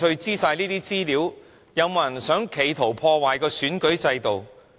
有沒有人企圖要破壞選舉制度？